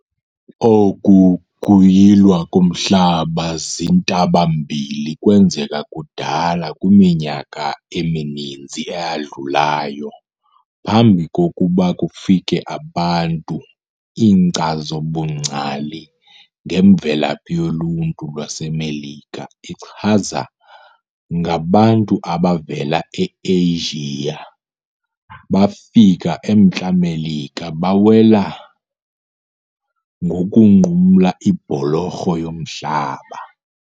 Oku kuyilwa komhlaba zintabamlilo kwenzeka kudala kwiminyaka emininzi eyadlulayo phambi kokuba kufike abantu. Inkcazo-bungcali ngemvelaphi yoluntu lwaseMelika ichaza ngabantu abavela e-Eyijiya bafika eMntla-Melika bewela ngokunqumla ibholorho yomhlaba.